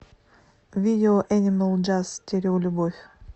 видео энимал джаз стереолюбовь